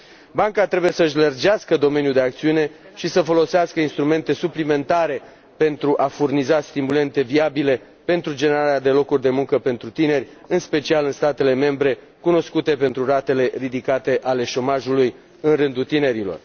Banca trebuie să și lărgească domeniul de acțiune și să folosească instrumente suplimentare pentru a furniza stimulente viabile pentru generarea de locuri de muncă pentru tineri, în special în statele membre cunoscute pentru ratele ridicate ale șomajului în rândul tinerilor.